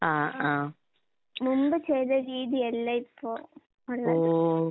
ആഹ് ആഹ്. ഓ.